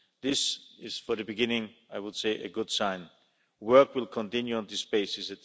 This is, for the beginning, I would say, a good sign. Work will continue on this basis.